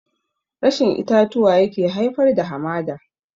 Rashin itatuwa yake haifar da hamada